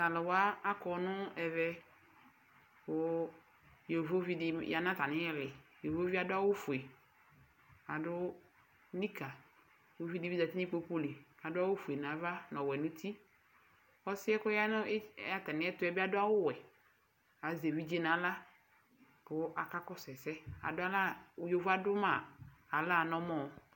Tʋ alʋ wa akɔ nʋ ɛvɛ kʋ yovovi dɩ ya natamɩ ɩɩlɩ,yovovie adʋ awʋ ofue, adʋ nikǝUvi dɩ bɩ zati n' ikpoku li adʋ awʋ fue nava nɔwɛ nutiƆsɩɛ kɔya nʋ atamɩɛtʋɛ bɩ adʋ awʋ wɛ ,azɛ evidze naɣla kʋ aka kɔsʋ ɛsɛ adʋalɛ yovoe adʋ ma aɣla nɔmɔ